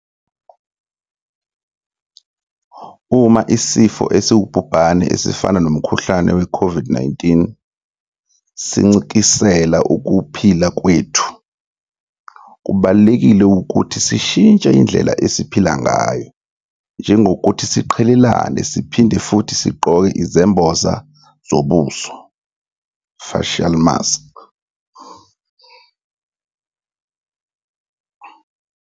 Uma isifo esiwubhubhane esifana nomkhuhlane we COVID-19 sincikisela ukuphila kwethu, kubalulekile ukuthi sishintshe indlela esiphila ngayo njengokuthi siqhelelane siphinde futhi sigqoke izembozo zobuso, facial masks.